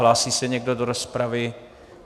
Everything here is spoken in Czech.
Hlásí se někdo do rozpravy?